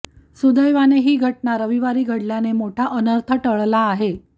सुदैवाने ही घटना रविवारी घडल्याने मोठा अनर्थ टळला आहे